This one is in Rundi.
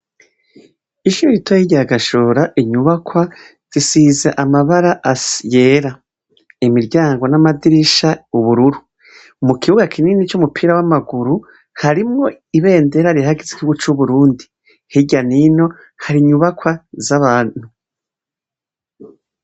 Ishure ritoya rya gashora zisizwe amabara yera imiryango namadirisha ubururu mukibuga kinini cumupira wamaguru harimwo ibendera rihayagiza igihugu cuburundi hirya nino harinyubakwa zabantu